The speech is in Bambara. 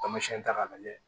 Tamasiyɛn ta k'a lajɛ